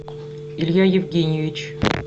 илья евгеньевич